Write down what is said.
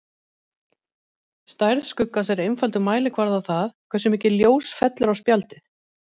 Stærð skuggans er einfaldur mælikvarði á það, hversu mikið ljós fellur á spjaldið.